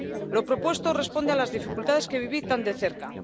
Lo propuesto responde a las dificultades que viví tan de cerca.